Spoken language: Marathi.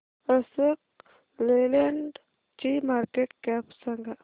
अशोक लेलँड ची मार्केट कॅप सांगा